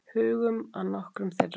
Hugum að nokkrum þeirra.